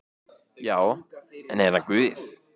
Já, er hann Guð?